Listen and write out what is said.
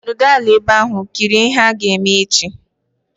Nọdụ ala ebe ahu! Kirie ihe ha ga-eme echi